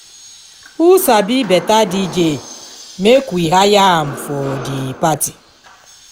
who sabi better dj make we hire am for the party